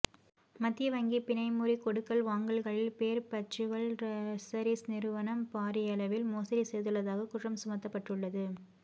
மத்திய வங்கி பிணை முறி கொடுக்கல் வாங்கல்களில் பேர்பச்சுவல் ட்ரஸரீஸ் நிறுவனம் பாரியளவில் மோசடி செய்துள்ளதாகக் குற்றம் சுமத்தப்பட்டுள்ளது